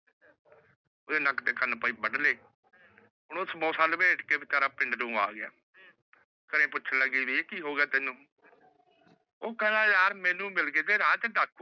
ਵੇ ਨਾਕ ਤੇਹ ਕਾਨ ਭਾਈ ਵੱਡ ਲੈ ਹੁਣ ਓਸ ਪਿੰਦ ਆਗਯਾ ਘਰੇ ਪੁਛ ਲੱਗ ਗਯੀ ਵੀਰ ਕੀ ਹੋ ਗਯਾ ਤੈਨੂ ਓਹ ਖੇੰਦਾ ਯਾਰ ਮੈਨੂ ਮਿਲ ਗਯੀ ਡਾਕੂ